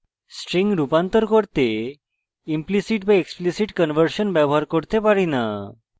strings রূপান্তর করতে implicit বা explicit conversion ব্যবহার করতে পারি না